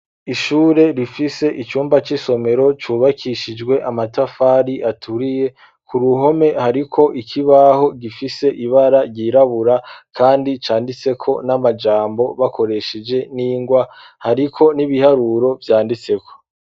Ishure, rifise icumba c'isomero, cubakishijwe amatafari, aturiye; ku ruhome, hariko ikibaho, gifise ibara ryirabura, kandi, canditseko n'amajambo, bakoresheje n'ingwa, hariko n'ibiharuro vyanditseko.